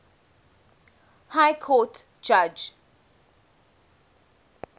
high court judge